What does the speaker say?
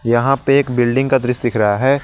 यहां पे एक बिल्डिंग का दृश्य दिख रहा है।